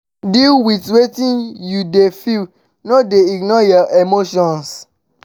deal with wetin you de feel no de ignore your emotions